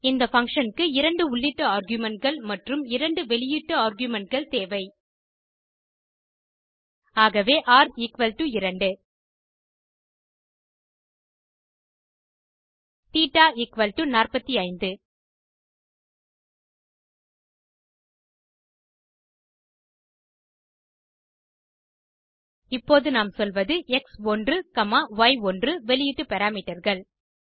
இந்த பங்ஷன் க்கு இரண்டு உள்ளீட்டு argumentகள் மற்றும் இரண்டு வெளியீட்டு argumentகள் தேவை ஆகவே ர் 2 தேட்ட 45 இப்போது நாம் சொல்வது எக்ஸ்1 காமா ய்1 வெளியீட்டு parameterகள்